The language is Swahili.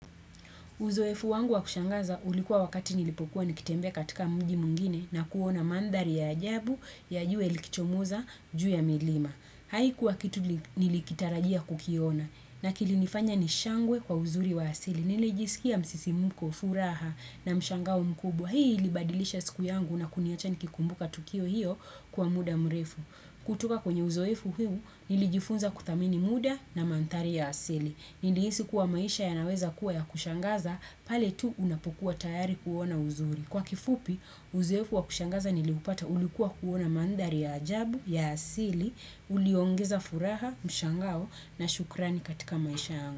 Uzoefu wangu wa kushangaza ulikuwa wakati nilipokuwa nikitembea katika mji mwingine na kuona mandhari ya ajabu ya jua likichomoza juu ya milima. Hai kuwa kitu nilikitarajia kukiona na kilinifanya nishangwe kwa uzuri wa asili. Nili jisikia msisimuko, furaha na mshangao mkubwa. Hii ili badilisha siku yangu na kuniacha nikikumbuka tukio hiyo kwa muda mrefu. Kutoka kwenye uzoefu huu nilijifunza kuthamini muda na manthari ya asili. Niliisi kuwa maisha ya naweza kuwa ya kushangaza, pale tu unapokuwa tayari kuona uzuri. Kwa kifupi, uzoefu wa kushangaza niliupata ulikuwa kuona mandhari ya ajabu, ya asili, uliongeza furaha, mshangao, na shukrani katika maisha yangu.